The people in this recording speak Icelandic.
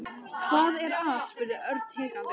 Hvað er að? spurði Örn hikandi.